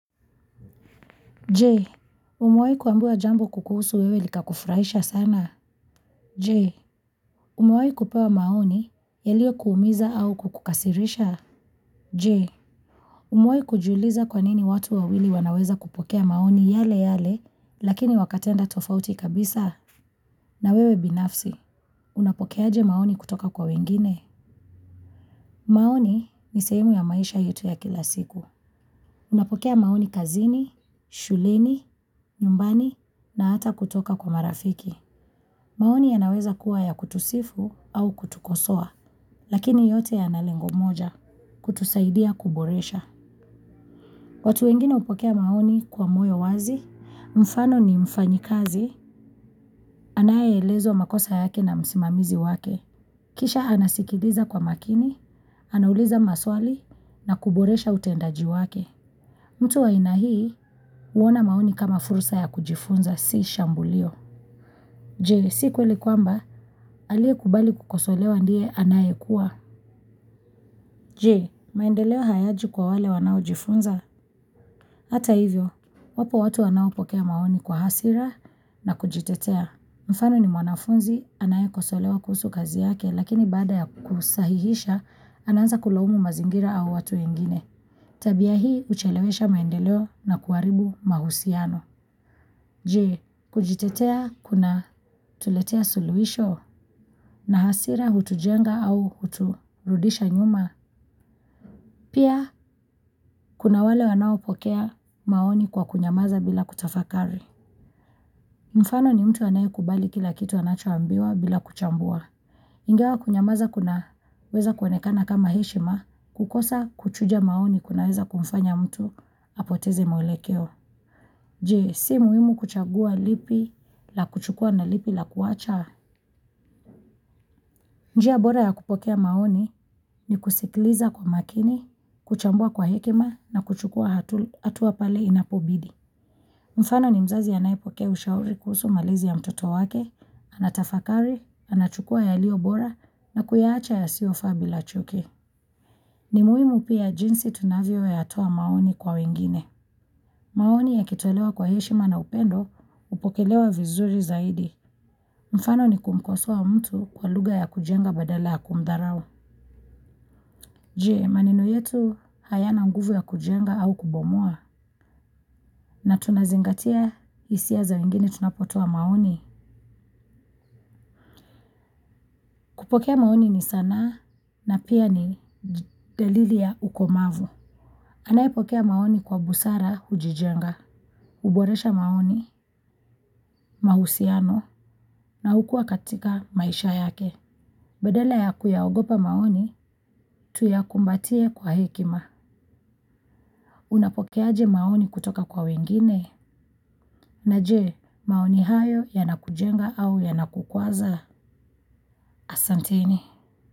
Je, umewai kuambiwa jambo kukuhusu wewe likakufuraisha sana? Je, umewahi kupewa maoni yaliokuumiza au kukukasirisha? Je, umewai kujiuliza kwa nini watu wawili wanaweza kupokea maoni yale yale, lakini wakatenda tofauti kabisa? Na wewe binafsi, unapokeaje maoni kutoka kwa wengine? Maoni ni sehemu ya maisha yetu ya kila siku. Unapokea maoni kazini, shuleni, nyumbani na hata kutoka kwa marafiki. Maoni yanaweza kuwa ya kutusifu, au kutukosoa. Lakini yote yana lengo moja. Kutusaidia kuboresha. Watu wengine hupokea maoni kwa moyo wazi. Mfano ni mfanyakazi anayeelezwa makosa yake na msimamizi wake. Kisha anasikiliza kwa makini, anauliza maswali, na kuboresha utendakazi wake. Mtu wa aina hii, huona maoni kama fursa ya kujifunza si shambulio. Je, si kweli kwamba, aliyekubali kukosolewa ndiye anayekuwa je, maendeleo hayaji kwa wale wanaojifunza? Hata hivyo, wapo watu wanaopokea maoni kwa hasira na kujitetea. Mfano ni mwanafunzi, anayekosolewa kuhusu kazi yake, lakini baada ya kusahihisha, anaanza kulaumu mazingira au watu ingine. Tabia hii, huchelewesha maendeleo na kuharibu mahusiano. Je, kujitetea kunatuletea suluhisho? Na hasira hutujenga au huturudisha nyuma? Pia kuna wale wanaopokea maoni kwa kunyamaza bila kutafakari. Mfano ni mtu anayekubali kila kitu anachoambiwa bila kuchambua. Ingawa kunyamaza kunaweza kuoenekana kama heshima, kukosa kuchuja maoni kunaweza kumfanya mtu apoteze mwelekeo. Je, si muhimu kuchagua lipi la kuchukua na lipi la kuacha? Njia bora ya kupokea maoni ni kusikiliza kwa makini, kuchambua kwa hekima na kuchukua hatua pale inapobidi. Mfano ni mzazi anayepokea ushauri kuhusu malezi ya mtoto wake, anatafakari, anachukua yaliyo bora, na kuyaacha yasiofaa bila chuki. Ni muhimu pia jinsi tunavyoyatoa maoni kwa wengine. Maoni yakitolewa kwa heshima na upendo, hupokelewa vizuri zaidi. Mfano ni kumkosoa mtu kwa lugha ya kujenga badala ya kumdharau. Je, maneno yetu hayana nguvu ya kujenga au kubomoa? Na tunazingatia hisia za wengine tunapotoa maoni? Kupokea maoni ni sanaa, na pia ni dalili ya ukomavu. Anayepokea maoni kwa busara hujijenga. Uboresha maoni, mahusiano na hukua katika maisha yake. Badala ya kuyaogopa maoni, tuyakumbatie kwa hekima. Unapokeaje maoni kutoka kwa wengine? Na je, maoni hayo yanakujenga au yanakukwaza? Asanteni.